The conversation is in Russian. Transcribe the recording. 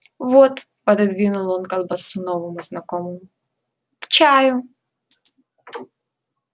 вот пододвинул он колбасу новому знакомому к чаю